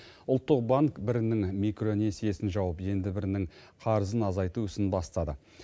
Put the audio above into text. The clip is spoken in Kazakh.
ұлттық банк бірінің микронесиесін жауып енді бірінің қарызын азайту ісін бастады